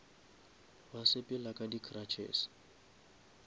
ba sepela ka di cruches